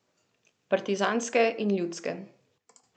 Partizanske in ljudske.